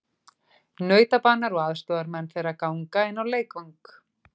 Nautabanar og aðstoðarmenn þeirra ganga inn á leikvang.